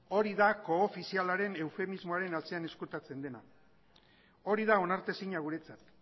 hori da koofizialaren eufemismoaren atzean ezkutatzen dena hori da onartezina guretzat